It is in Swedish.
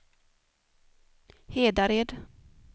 Hedared